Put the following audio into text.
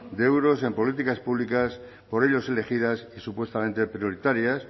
de euros en políticas públicas por ellos elegidas y supuestamente prioritarias